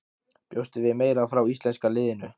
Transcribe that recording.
Bjóstu við meira frá íslenska liðinu?